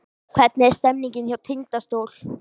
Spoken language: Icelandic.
Hvernig er stemningin hjá Tindastól?